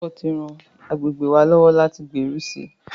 Ìfọwọ́sowọ́pọ̀ ti ran àgbègbè wa lọ́wọ́ láti gbèrú sí i.